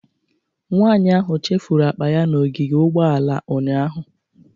Nwanyị ahụ chefuru akpa ya n'ogige ugbooala ụnyahụ.